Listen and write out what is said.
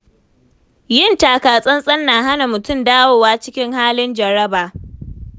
Yin taka tsantsan na hana mutum dawowa cikin halin jaraba.